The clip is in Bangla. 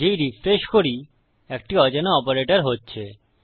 যেই রিফ্রেশ করি এটি অজানা অপারেটর হচ্ছে